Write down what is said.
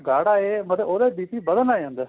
ਗਾੜਾ ਏ ਮਤਲਬ ਉਹਦਾ BP ਵੱਧਣ ਲੱਗ ਜਾਂਦਾ